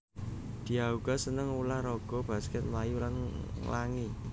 Diah uga seneng ulah raga baskèt mlayu lan nglangi